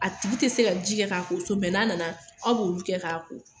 A tigi tɛ se ka ji kɛ k'a ko so n'a nana aw b'olu kɛ k'a ko